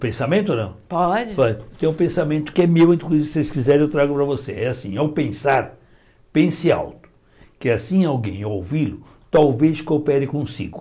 O pensamento ou não Pode Po tem um pensamento que é meu e Se vocês quiserem eu trago para vocês É assim, ao pensar, pense alto Que assim alguém, ao ouvi-lo Talvez coopere consigo